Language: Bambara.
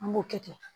An b'o kɛ ten